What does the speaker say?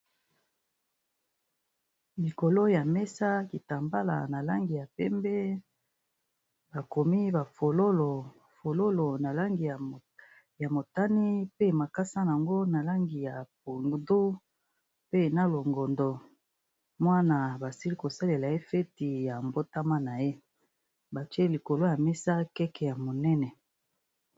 Likolo ya mesa kitambala ya penbe bakomi na Langi ya longondo na penbe batier libiso Naye keke ya monene